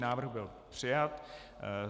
Návrh byl přijat.